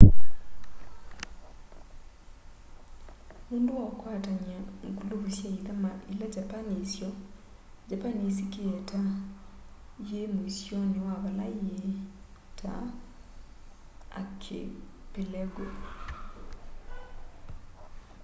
nundu wa ukwatany'a/nguluvu sya ithama ila japani yisyo japani yisikie ta yi muisyoni wa vala yii ta archipelago